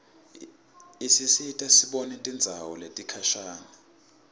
isisita sibone tindzawo letikhashane